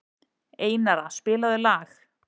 Einara, spilaðu lag.